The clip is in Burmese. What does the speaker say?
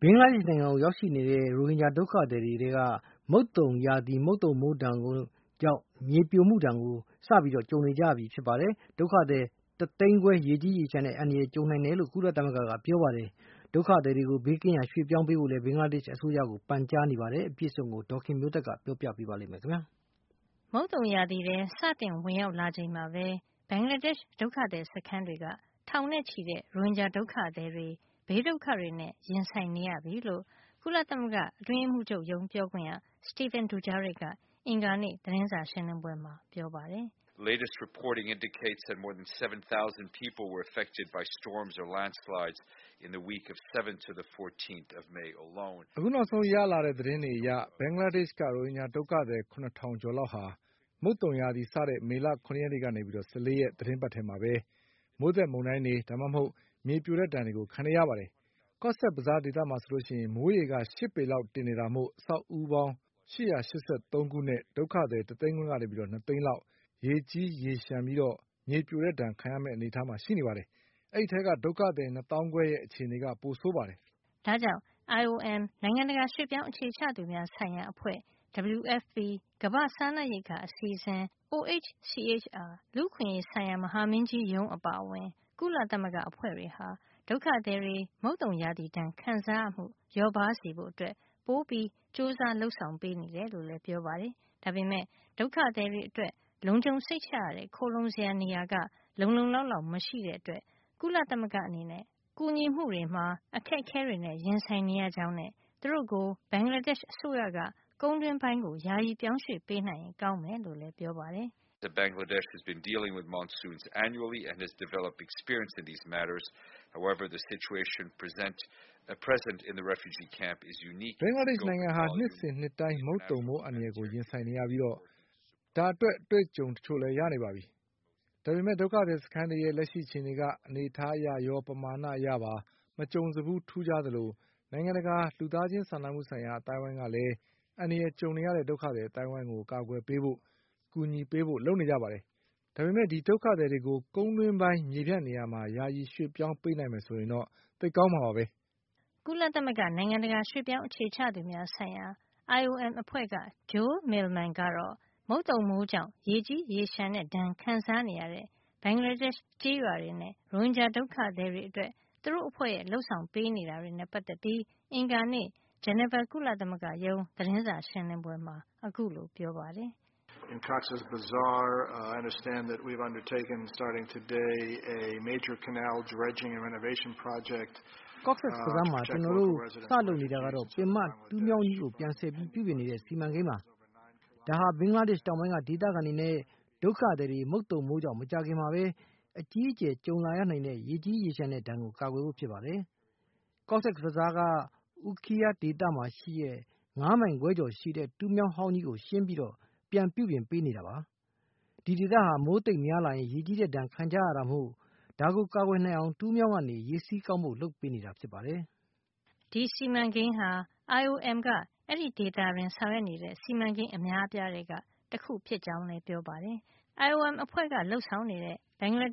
ဘင်္ဂလားဒေ့ရှ် နိုင်ငံကို ရောက်နေတဲ့ ရိုဟင်ဂျာဒုက္ခသည်တွေထဲက မုတ်သုန်ရာသီ မိုးသက်မုန်တိုင်းတွေနဲ့ မြေပြိုမှုဒဏ်ခံနေရသူ ၇ ထောင် ကျော်သွားပြီဖြစ်ပြီး မိုးသည်းထန်မှုကြောင့် ဒုက္ခသည် တသိန်းခွဲရေကြီးရေလျှံတဲ့ အန္တရာယ်နဲ့ ကြုံရနိုင်တယ်လို့ ကုလသမဂ္ဂက ပြောပါတယ်။ ဒုက္ခသည်တွေကို ဘေးကင်းရာ ပြောင်းရွှေ့ပေးဖို့လည်း ဘင်္ဂလားဒေ့ရှ် အစိုးရကို ပန်ကြားနေပါတယ်။ အပြည့်အစုံကို ဒေါ်ခင်မျိုးသက်က ပြောပြပေးမှာပါ။ မုတ်သုန်ရာသီထဲ စတင်ဝင်ရောက်လာချိန်မှာပဲ ဘင်္ဂလားဒေ့ရှ် ဒုက္ခသည်စခန်းတွေက ထောင်နဲ့ချီတဲ့ ရိုဟင်ဂျာဒုက္ခသည် တွေ ဘေးဒုက္ခတွေနဲ့ ရင်ဆိုင်နေရပြီလို့ ကုလသမဂ္ဂအတွင်းရေးမှုးချုပ်ရုံး ပြောခွင့်ရ Stephane Dujarric က အင်္ဂါနေ့ သတင်းစာရှင်းလင်းပွဲမှာ ပြောပါတယ်။ "အခုနောက်ဆုံး ရလာတဲ့ သတင်းတွေအရ ဘင်္ဂလားဒေ့ရှ် က ရိုဟင်ဂျာ ဒုက္ခသည် ၇၀၀၀ ကျော်လောက်ဟာ မုတ်သုန်ရာသီစတဲ့ မေလ ၇ ရက် ကနေ ၁၄ ရက် သီတင်းပတ်ထဲမှာပဲ မိုးသက်မုန်တိုင်းတွေ ဒါမှမဟုတ် မြေပြိုတဲ့ ဒဏ်တွေခံနေကြရပါတယ်။ Cox’s Bazaar မှာဆို မိုးရေက ၈ ပေ လောက်တင်နေတာမို့ အဆောက်အဦးပေါင်း ၈၈၃ ခု နဲ့ ဒုက္ခသည် တသိန်းခွဲကနေ ၂ သိန်းလောက် ရေကြီးရေလျှံပြီး မြေပြိုတဲ့ ဒဏ်ခံရမယ့် အနေထားမှာ ရှိနေပါတယ်။ ဒီအထဲက ဒုက္ခသည် ၂ သောင်းခွဲရဲ့ အခြေအနေက ပိုဆိုးပါတယ်။" ဒါ့ကြောင့် IOM နိုင်ငံတကာ ရွှေ့ပြောင်းအခြေချသူများ ဆိုင်ရာအဖွဲ့၊ WFP ကမ္ဘာ့စားနပ်ရိက္ခာအစီအစဉ်၊ OHCHR လူ့အခွင့်ရေးဆိုင်ရာ မဟာမင်းကြီးရုံးအပါအဝင် ကုလသမဂ္ဂအဖွဲ့တွေဟာ ဒုက္ခသည်တွေ မုတ်သုန်ရာသီဒဏ်ခံရမှု လျော့ပါးစေဖို့ ပိုပြီး ကြိုးစား လုပ်ဆောင် နေတယ်လို့လည်း ပြောပါတယ်။ ဒါပေမယ့် ဒုက္ခသည်တွေအတွက် လုံခြုံစိတ်ချရတဲ့ခိုလှုံစရာနေရာ လုံလုံလောက်လောက် မရှိတဲ့အတွက် ကုလသမဂ္ဂအနေနဲ့ ကူညီမှုတွေမှာ အခက်အခဲတွေနဲ့ ရင်ဆိုင်နေရကြောင်းနဲ့ သူတို့ကို ဘင်္ဂလားဒေ့ရှ်အစိုးရက ကုန်းတွင်းပိုင်းကို ယာယီပြောင်းရွှေ့ပေးနိုင်ရင် ကောင်းမယ်လို့လည်းပြောပါတယ်။ "ဘင်္ဂလားဒေ့ရှ် နိုင်ငံဟာ နှစ်စဉ်နှစ်တိုင်း မုတ်သုန်မိုး အန္တရာယ်ကို ရင်ဆိုင်နေရပြီး ဒါအတွက် အတွေ့အကြုံတချို့လည်း ရနေပါပြီ။ ဒါပေမယ့် ဒုက္ခသည်စခန်းတွေရဲ့ လက်ရှိအခြေနေက အနေထားအရရော ပမာဏအရပါ မကြုံစဖူးထူးခြားသလို နိုင်ငံတကာ လူသားချင်းစာနာမှုဆိုင်ရာ အသိုင်းဝိုင်းကလည်း အန္တရာယ်ကြုံနေရတဲ့ ဒုက္ခသည်အသိုင်းဝိုင်းကို အကာကွယ်ပေးဖို့ အကူညီပေးဖို့ လုပ်နေကြတာပါ။ ဒါပေမယ့် ဒီဒုက္ခသည် တွေကို ကုန်းတွင်းပိုင်းမြေပြန့်နေရာမှာ ယာယီပြောင်းရွှေ့ပေးနိုင်မယ်ဆိုရင်တော့ သိပ်ကောင်းမှာပါ။" ကုလသမဂ္ဂ နိုင်ငံတကာ ရွှေ့ပြောင်းအခြေချသူများ ဆိုင်ရာ IOM အဖွဲ့က Joel Millman ကတော့ မုတ်သုန်မိုးကြောင့် ရေကြီးရေလျှံတဲ့ ဒဏ်ခံစားနေရတဲ့ ဘင်္ဂလားဒေ့ရှ် ကျေးရွာတွေနဲ့ ရိုဟင်ဂျာ ဒုက္ခသည်တွေအတွက် သူတို့အဖွဲ့ရဲ့ လုပ်ဆောင်ပေးနေတာတွေနဲ့ ပတ်သက်ပြီး အင်္ဂါနေ့ ဂျနီဗာ ကုလသမဂ္ဂရုံး သတင်းစာ ရှင်းလင်းပွဲမှာ ခုလိုပြောပါတယ်။ “Cox’s Bazar မှာ ဒီကနေ့ ကျနော်တို့ စလုပ်နေတာကတော့ ပင်မတူးမြောင်းကြီးကို ပြန်ဆည်ပြီး ပြုပြင်နေတဲ့ စီမံကိန်းပါ။ ဒါဟာ ဘင်္ဂလားဒေ့ရှ် တောင်ပိုင်းက ဒေသခံတွေနဲ့ ဒုက္ခသည်တွေ မုတ်သုန်မိုးကြောင့် မကြာခင်မှာပဲ အကြီးအကျယ်ကြုံလာရနိုင်တဲ့ ရေကြီးရေလျှံတဲ့ ဒဏ်ကိုကာကွယ်ဖို့ပါ။ Cox’s Bazar က အူးခီးယား Ukhiya ဒေသမှာ ရှိတဲ့ ၅ မိုင်ခွဲကျော်ရှည်တဲ့ တူးမြောင်းအဟောင်းကြီးကို ရှင်းပြီး ပြန်ပြုပြင်ပေးနေတာပါ။ ဒီဒေသဟာ မိုးသိပ်များလာရင် ရေကြီးတဲ့ဒဏ် ခံကြရတာမို့ ဒါကိုကာကွယ်နိုင်အောင် တူးမြောင်းကနေ ရေစီးကောင်းဖို့ လုပ်ပေးနေတာပါ” ဒီစီမံကိန်းဟာ IOM က အဲဒီဒေသမှာ ဆောင်ရွက်နေတဲ့ စီမံကိန်းအများအပြားထဲက တခုဖြစ်ကြောင်းလည်း ပြောပါတယ်။ IOM အဖွဲ့က ဘင်္ဂလား